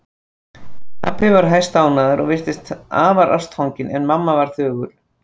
Pabbi var hæstánægður og virtist afar ástfanginn en mamma var þögul.